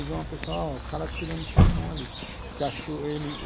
Aí veio uma pessoa, ó, o cara atirando seu irmão ali. Que achou ele